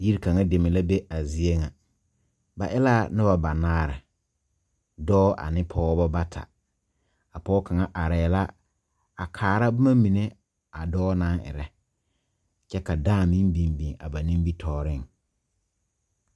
Bie kaŋa deme la be a zie ŋa ba e la noba banaare dɔɔ ane pɔge bata a pɔge kaŋa arɛɛ la a kaara boma mine a dɔɔ naŋ erɛ kyɛ ka dãã meŋ biŋ biŋ na nimitɔɔreŋ.